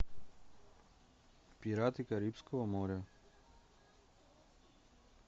пираты карибского моря